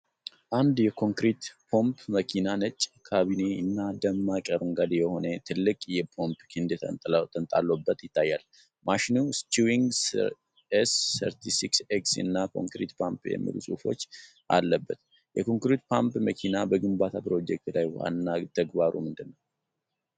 አንድ የኮንክሪት ፓምፕ መኪና ነጭ ካቢኔ እና ደማቅ አረንጓዴ የሆነ ትልቅ የፓምፕ ክንድ ተንጣሎበት ይታያል። ማሽኑ "SCHWING S36X" እና "Concrete Pump" የሚሉ ጽሑፎች አለበት። የኮንክሪት ፓምፕ መኪና በግንባታ ፕሮጀክት ላይ ዋና ተግባሩ ምንድነው?